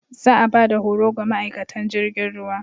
Za a ba da horo ga ma'aikatan jirgin ruwa.